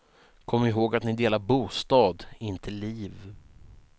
Kom ihåg att ni delar bostad, inte liv.